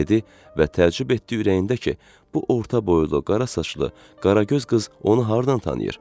dedi və təəccüb etdi ürəyində ki, bu orta boylu, qara saçlı, qara göz qız onu hardan tanıyır?